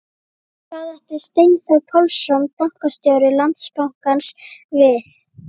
En hvað átti Steinþór Pálsson, bankastjóri Landsbankans við?